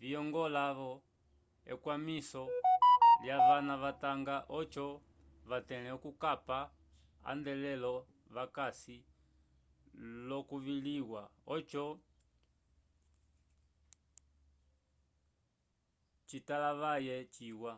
viyongola-vo ekwamiso lyavana vatanga oco vatẽle okukapa atendelo vakasi l'okusukiliwa oco citalavaye ciwa